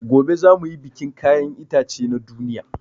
Gobe za muyi bikin kayan itace na duniya